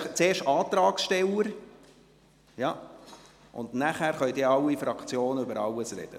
Zuerst sprechen einfach alle Antragsteller, und nachher können alle Fraktion zu allem sprechen.